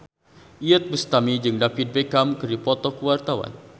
Iyeth Bustami jeung David Beckham keur dipoto ku wartawan